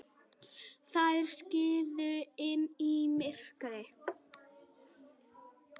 Þær skriðu inn í myrkrið.